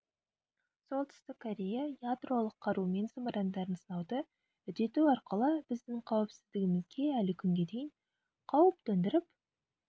солтүстік корея ядролық қару мен зымырандарын сынауды үдету арқылы біздің қауіпсіздігімізге әлі күнге дейін қауіп төндіріп